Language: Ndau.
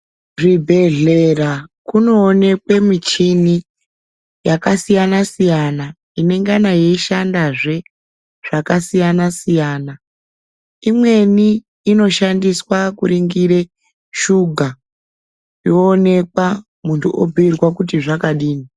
Zvibhedhlera kunoonekwe michini yakasiyana siyana ingengane yeishandazve zvakasiyana siyana imweni inoshandiswa kuningire shuga yoonekwa muntu obhiirwe kuti zvakadini.